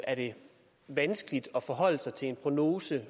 er det vanskeligt at forholde sig til en prognose